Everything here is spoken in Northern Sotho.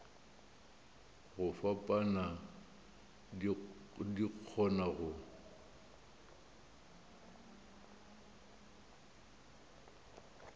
go fapana di kgona go